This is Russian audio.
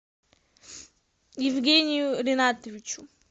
евгению ринатовичу